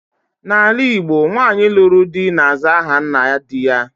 N'ala Igbo, nwaanyị lụrụ di, na-aza ahanna di ya.